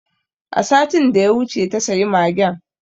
A satin da ya wuce ta sayi magen